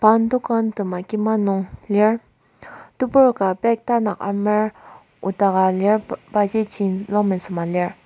Pan dokan tema kima nung lir tebur ka bag tanak amer nokdaka lir pa ji jean longpant sema lir.